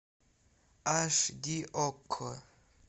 аш ди окко